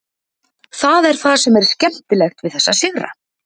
Það er það sem er skemmtilegt við þessa sigra.